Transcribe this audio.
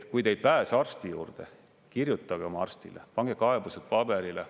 Kui te ei pääse arsti juurde, kirjutage oma arstile, pange kaebused paberile.